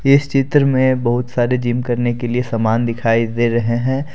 इस चित्र में बहुत सारे जिम करने के लिए सामान दिखाई दे रहे है।